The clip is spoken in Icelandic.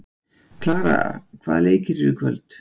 Kara, hvaða leikir eru í kvöld?